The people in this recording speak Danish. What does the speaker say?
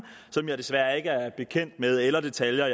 som jeg desværre ikke er bekendt med eller detaljer